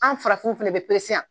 An farafinw fana bɛ yan